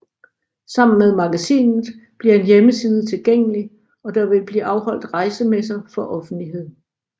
Sammen med magasinet bliver en hjemmeside tilgængelig og der vil blive afholdt rejsemesser for offentligheden